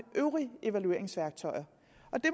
øvrige evalueringsværktøjer